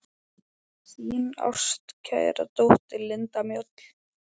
Þín ástkæra dóttir, Linda Mjöll.